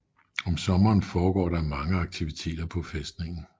Om sommeren foregår der mange aktiviteter på fæstningen